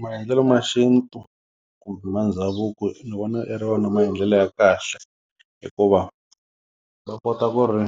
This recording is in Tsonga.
Maendlelo ma xintu kumbe ma ndhavuko ndzi vona i ri wona maendlelo ya kahle hikuva va kota ku ri